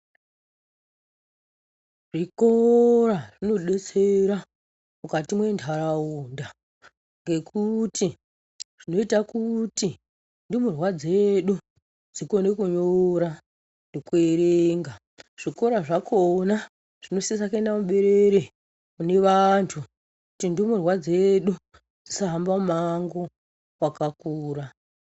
Zvikora zvinodetsera mukati mendaraunda, ngekuti zvinoyita kuti ndumurwa dzedu ,dzikone kunyora nekuerenga, zvikora zvakona zvinosisa kuenda muberere munevantu kuti ndumurwa dzedu dzisahamba mumango wakakura.